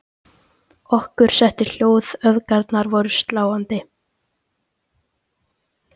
Okkur setti hljóð, öfgarnar voru svo sláandi.